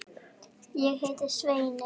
Ég heiti Svenni.